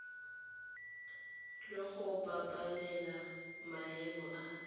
le go babalela maemo a